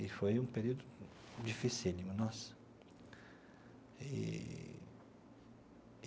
E foi um período dificílimo, nossa eee.